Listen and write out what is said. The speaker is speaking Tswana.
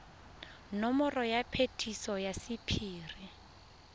nomoro ya phetiso ya sephiri